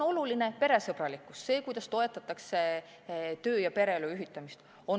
Oluline on peresõbralikkus, see, kuidas toetatakse töö ja pereelu ühitamist.